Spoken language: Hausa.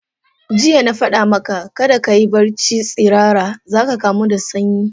Jiya na fada maka, kada kayi barci tsirara za ka kamu da sanyi.